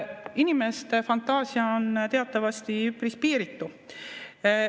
Inimeste fantaasia on teatavasti üpris piiritu.